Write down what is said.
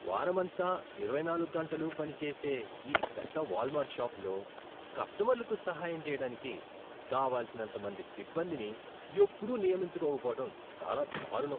వారమంతా, ఇరవైనాలుగ్గంటలూ పని చేసే ఈ పెద్ద వాల్మార్ట్ షాపులో కస్టమర్లకు సహాయం చేయడానికి కావలసినంతమంది సిబ్బందిని ఎప్పుడూ నియమించుకోకపోవటం చాలా దారుణం .